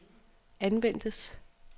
anvendes